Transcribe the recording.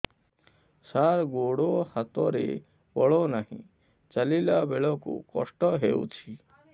ସାର ଗୋଡୋ ହାତରେ ବଳ ନାହିଁ ଚାଲିଲା ବେଳକୁ କଷ୍ଟ ହେଉଛି